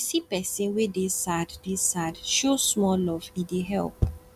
if you see pesin wey dey sad dey sad show small love e dey help